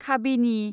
खाबिनि